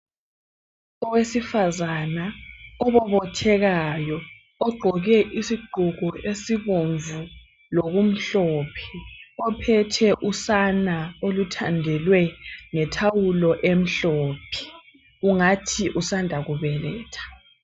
Owesifazana obobothekayo ogqoke isigqoko esibomvu loku mhlophe ophethe usana oluthandelwe ngethawulo emhlophe, ungathi usanda kubeletha.